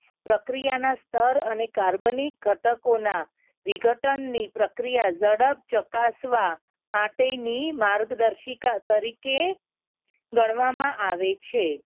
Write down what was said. પ્રક્રિયાના સ્થળ અને carbonic ઘટકોના વિઘટન ની પ્રક્રિયા ઝડપ ચકાસવા માટેની માર્ગદર્શિકા તરીકે ગણવામાં આવે છે.